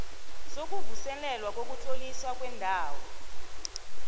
sokuvuselelwa kokutloliswa kwendawo